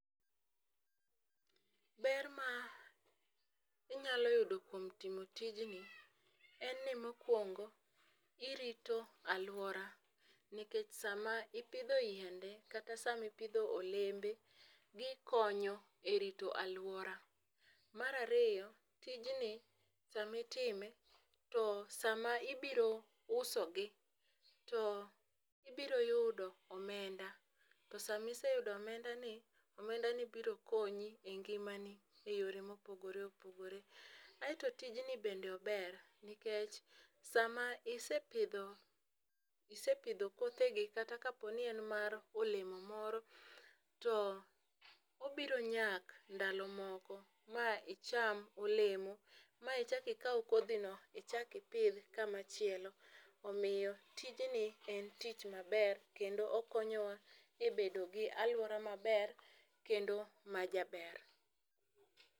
Ber ma inyalo yudo kuom timo tijni en ni mokwongo irito aluora nikech sama ipidho yiende kata sama ipidho olembe gikonyo e rito aluora . Mar ariyo, tijni samitime to sama ibiro uso gi to ibiro yudo omenda , to samise yudo omenda ni omenda ni biro konyi e ngimani e yore mopogore opogore. Aeto tijni bende ober nikech sama isepidho isepidho kothe gi kata ka po ni en mar olemo moro to obiro nyak ndalo moko ma icham olemo ma ichaki kaw kodhi ichaki pidh kama chielo .Omiyo tijni en tich maber kendo okonyowa e bedo gi aluora maber kendo majaber.